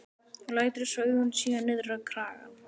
Og lætur svo augun síga niður á kragann.